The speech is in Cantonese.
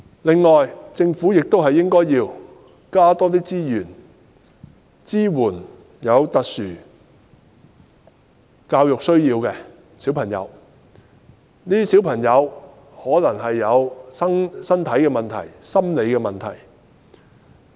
另外，政府亦應該增加資源，支援有特殊教育需要的小朋友，他們可能有身體問題或心理問題。